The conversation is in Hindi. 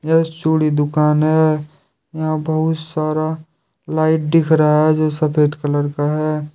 यह चूड़ी दुकान है यहां बहुत सारा लाइट दिख रहा है जो सफेद कलर का है।